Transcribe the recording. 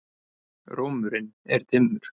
Rómurinn er dimmur.